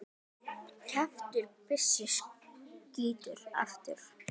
Kjaftur byssu skýtur aftur.